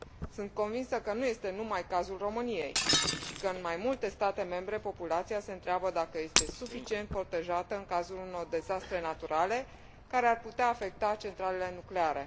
Sunt convinsă că nu este numai cazul României și că în mai multe state membre populația se întreabă dacă este suficient protejată în cazul unor dezastre naturale care ar putea afecta centralele nucleare.